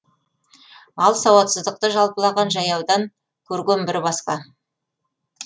ал сауатсыздықты жалпылаған жаяудан көрген бір басқа